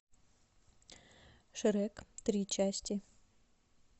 шрек три части